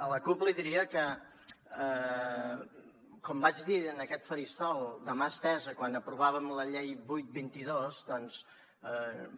a la cup li diria que com vaig dir en aquest faristol de mà estesa quan aprovàvem la llei vuit vint dos doncs